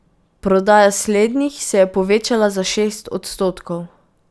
Prodaja slednjih se je povečala za šest odstotkov.